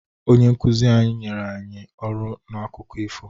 Onye nkuzi anyị nyere anyị ọrụ n'akụkọ ifo.